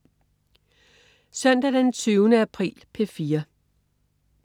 Søndag den 20. april - P4: